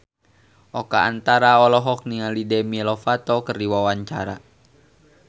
Oka Antara olohok ningali Demi Lovato keur diwawancara